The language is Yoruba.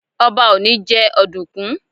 Ọba ò ní jẹ́ ọ̀dùkún.